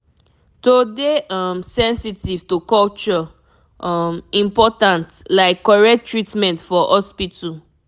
to dey um sensitive to culture um important like correct treatment for hospital